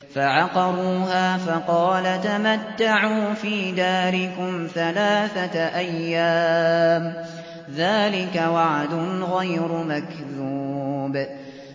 فَعَقَرُوهَا فَقَالَ تَمَتَّعُوا فِي دَارِكُمْ ثَلَاثَةَ أَيَّامٍ ۖ ذَٰلِكَ وَعْدٌ غَيْرُ مَكْذُوبٍ